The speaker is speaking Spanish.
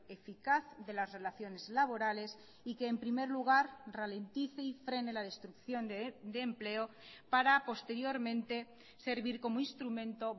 eficaz de las relaciones laborales y que en primer lugar ralentice y frene la destrucción de empleo para posteriormente servir como instrumento